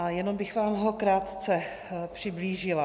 A jenom bych vám ho krátce přiblížila.